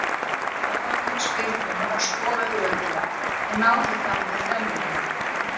Garðar tók spyrnuna og skoraði örugglega og náði þar með þrennunni.